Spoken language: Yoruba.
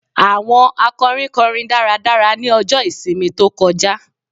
Àwọn akọrin kọrin dáradára ní ọjọ́ ìsinmi tó kọjá